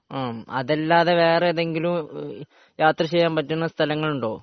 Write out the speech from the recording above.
ആഹ് അതല്ലാതെ വേറെ ഏതെങ്കിലും വേറെ ഏതെങ്കിലും യാത്ര ചെയ്യാൻ പറ്റിയ സ്ഥലങ്ങൾ ഉണ്ടോ